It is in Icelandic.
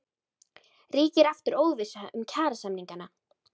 Ríkir aftur óvissa um kjarasamningana?